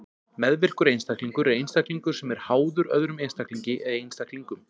meðvirkur einstaklingur er einstaklingur sem er „háður“ öðrum einstaklingi eða einstaklingum